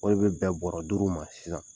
O de bɛ bɛn bɔrɔ duuru de ma sisan.